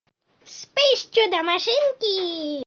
вспыш чудо машинки